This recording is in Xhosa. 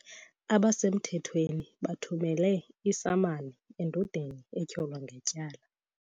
Abasemthethweni bathumele isamani endodeni etyholwa ngetyala.